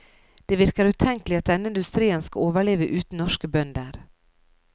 Det virker utenkelig at denne industrien skal overleve uten norske bønder.